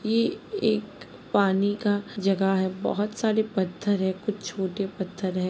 ये एक पानी का जगह है बहुत सारे पत्थर है कुछ छोटे पत्थर है।